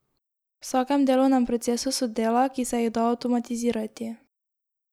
V vsakem delovnem procesu so dela, ki se jih da avtomatizirati.